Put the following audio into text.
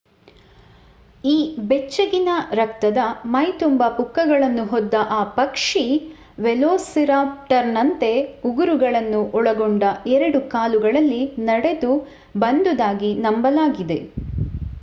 ಈ ಬೆಚ್ಚಗಿನ ರಕ್ತದ ಮೈ ತುಂಬ ಪುಕ್ಕಗಳನ್ನು ಹೊದ್ದ ಆ ಪಕ್ಷಿ ವೆಲೊಸಿರಾಪ್ಟರ್ನಂತೆ ಉಗುರುಗಳನ್ನು ಒಳಗೊಂಡ ಎರಡು ಕಾಲುಗಳಲ್ಲಿ ನಡೆದು ಬಂದುದಾಗಿ ನಂಬಲಾಗಿದೆ